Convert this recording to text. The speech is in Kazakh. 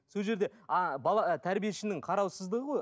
сол жерде а бала тәрбиешінің қараусыздығы ғой